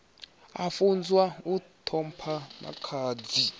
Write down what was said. a funzwa u ṱhompha makhadzi